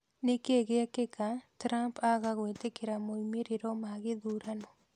Nĩkĩĩ gĩgĩkeka Trump aaga gwĩtĩkĩra moimĩrĩro ma gĩthurano?